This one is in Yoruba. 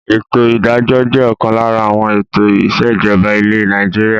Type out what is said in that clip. Ètò ìdájọ́ jẹ́ ọ̀kan lára àwọn ètò ìsèjọba ilẹ̀ Nàìjíríà.